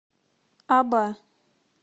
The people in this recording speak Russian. аба